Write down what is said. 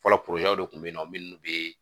Fɔlɔ de kun be yen nɔ munnu be